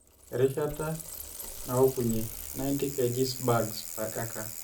erishata naokunyie(90kg bags/acre)